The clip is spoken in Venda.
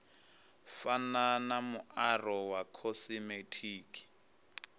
fana na muaro wa khosimetiki